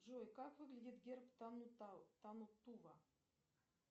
джой как выглядит герб танну тува